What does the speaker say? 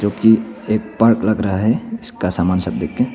जो कि एक पार्क लग रहा है जिसका सामान सब देखते--